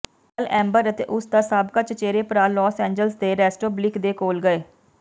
ਕੱਲ੍ਹ ਐਮਬਰ ਅਤੇ ਉਸ ਦਾ ਸਾਬਕਾ ਚਚੇਰੇ ਭਰਾ ਲੋਸ ਐਂਜਲਸ ਦੇ ਰੈਸਟੋਬਲਿਕ ਦੇ ਕੋਲ ਗਏ